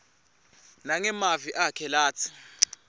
nangemavi akhe atsi